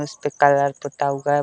उसपे कलर पूता हुआ हैं।